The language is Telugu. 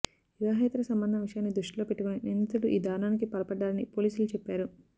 వివాహేతర సంబంధం విషయాన్ని దృష్టిలో పెట్టుకొని నిందితుడు ఈ దారుణానికి పాల్పడ్డారని పోలీసులు చెప్పారు